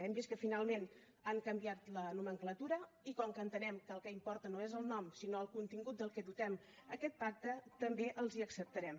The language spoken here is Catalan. hem vist que finalment n’han canviat la nomenclatura i com que entenem que el que importa no és el nom sinó el contingut del qual dotem aquest pacte també els ho acceptarem